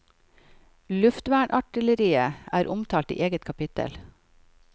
Luftvernartilleriet er omtalt i eget kapitel.